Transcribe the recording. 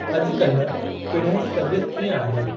अॼुकाल्हि पिण्हें जी तबीयत कीअं आहे ?